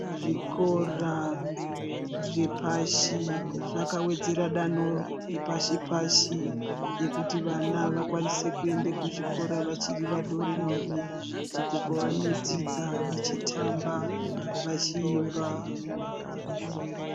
Zvikora zvepashi ,zvakawedzera danho repashi pashi rekuti vana vakwanise kuenda kuzvikora vachiri vadori dori uku kwavanodzidza vachitamba, vachiimba .